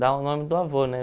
Dá o nome do avô, né?